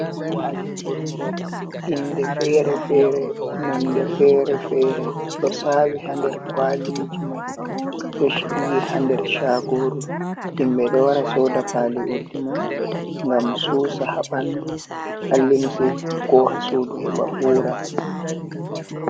Paali urdi inde fere-fere, nonde fere-fere ɗo sawi ha nder kwaliji mai ɗo shiryi ha nder chagoru. Himɓe ɗo wara soda pali urdi man ngam susa ha ɓandu, ha limse koha sudu heɓa ura.